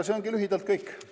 See ongi lühidalt kõik.